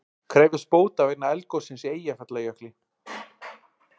Krefjast bóta vegna eldgossins í Eyjafjallajökli